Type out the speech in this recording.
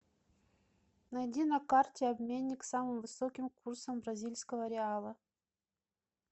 найди на карте обменник с самым высоким курсом бразильского реала